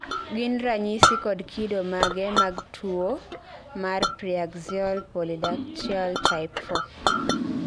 gin ranyisi kod kido mage mag tuwo mar Preaxial polydactyly type 4?